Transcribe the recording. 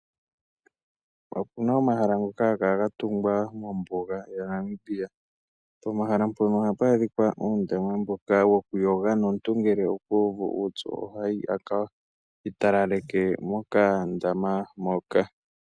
Opuna omahala ngoka haga kala ga tugwa mombuga yaNamibia. Pomahala mbono ohapu adhika uundama mboka wokuyoga. Noomuntu ngele okuuvu uupyu ohayi a ka talaleke mokandama moka.